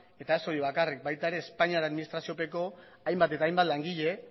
eta ez hori bakarrik baita ere espainiar administraziopeko hainbat eta hainbat langile